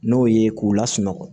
N'o ye k'u lasunɔgɔ